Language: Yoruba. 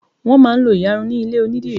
wón má n lo iyarun nílé onidiri